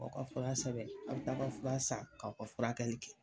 Aw ka fura sɛbɛn aw bi taa ka fura san, kaw ka furakɛli kɛ